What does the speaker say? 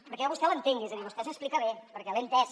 perquè jo a vostè l’entenc és a dir vostè s’explica bé perquè l’he entès